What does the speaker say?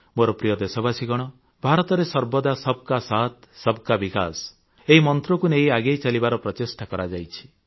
ମୋର ପ୍ରିୟ ଦେଶବାସୀଗଣ ଭାରତରେ ସର୍ବଦା ସବକା ସାଥ ସବକା ବିକାଶ ଏହି ମନ୍ତ୍ରକୁ ନେଇ ଆଗେଇ ଚାଲିବାର ପ୍ରଚେଷ୍ଟା କରାଯାଇଛି